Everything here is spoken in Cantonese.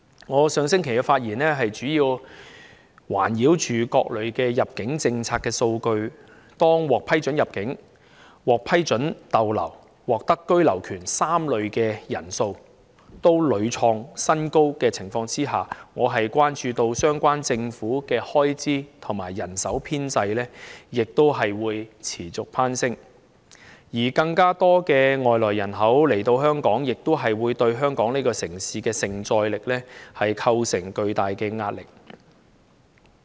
我上星期的發言內容，主要環繞各類入境政策的數據，在獲批准入境、獲批准逗留及獲得居留權3類人士的數目都屢創新高的情況下，我關注到相關的政府開支和人手需要亦將會持續攀升，而更多外來人口到港，亦會對香港這城市的承載力構成具大壓力。